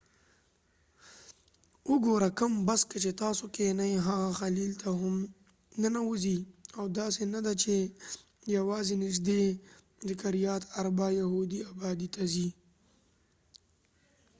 وګوره چې کوم بس کې تاسو کېنئ هغه خلیل ته هم ننوځي او داسې نه ده چې یواځې نږدې د کریات اربا یهودي ابادۍ ته ځي